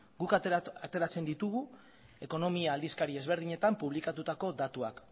guk ateratzen ditugu ekonomikoa aldizkari ezberdinetan publikatutako datuak